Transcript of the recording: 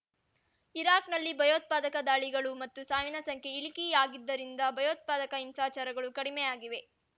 ಇರಾಕ್‌ನಲ್ಲಿ ಭಯೋತ್ಪಾದಕ ದಾಳಿಗಳು ಮತ್ತು ಸಾವಿನ ಸಂಖ್ಯೆ ಇಳಿಕೆಯಾಗಿದ್ದರಿಂದ ಭಯೋತ್ಪಾದಕ ಹಿಂಸಾಚಾರಗಳು ಕಡಿಮೆ ಆಗಿವೆ